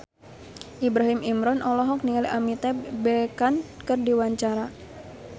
Ibrahim Imran olohok ningali Amitabh Bachchan keur diwawancara